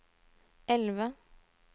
elve